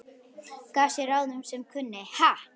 Gaf sá ráð sem kunni, ha!